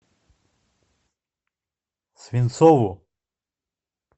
свинцову